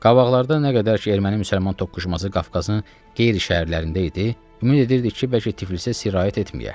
Qabaqlarda nə qədər ki erməni-müsəlman toqquşması Qafqazın qeyri-şəhərlərində idi, ümid edirdik ki, bəlkə Tiflisə sirayət etməyə.